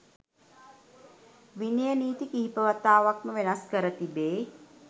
විනය නීති කීප වතාවක් ම වෙනස් කර තිබේ.